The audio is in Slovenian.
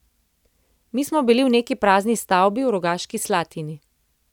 Mi smo bili v neki prazni stavbi v Rogaški Slatini.